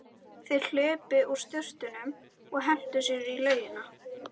Þeir hlupu úr sturtunum og hentu sér út í laugina.